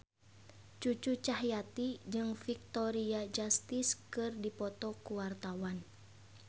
Cucu Cahyati jeung Victoria Justice keur dipoto ku wartawan